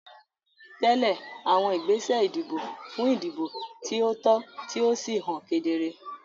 Tẹ̀lé àwọn ìgbésẹ̀ ìdìbò fún ìdìbò tí ó tọ́ tí ó sì hàn kedere.